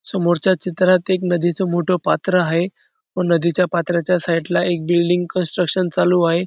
समोरच्या चित्रात एक नदी च मोठं पात्र आहे व नदी च्या पात्राच्या साइड ला एक बिल्डिंग कंस्ट्रक्शन चालू आहे.